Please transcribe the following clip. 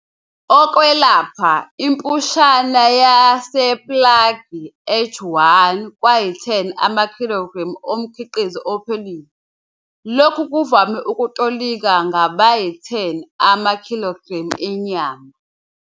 okwelapha, impushana yasePrague H1, kwayi-10 amakhilogremu omkhiqizo ophelile. Lokhu kuvame ukutolikwa ngabayi-10 amakhilogremu enyama.